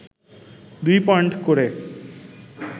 দুই পয়েন্ট করে